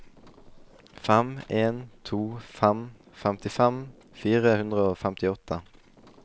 fem en to fem femtifem fire hundre og femtiåtte